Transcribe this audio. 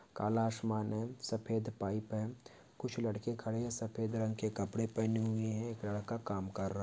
काला आसमान है सफ़ेद पाइप है कुछ लड़के खड़े हैं सफ़ेद रंग के कपड़े पहने हुए है एक लड़का काम कर रहा --